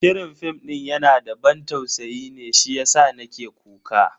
Shirin fim din yana da ban tausayi ne shiyasa nake kuka.